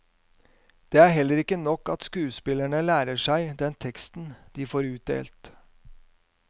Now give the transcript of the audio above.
Det er heller ikke nok at skuespillerne lærer seg den teksten de får utdelt.